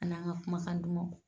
Ani an ka kumakan dumanw.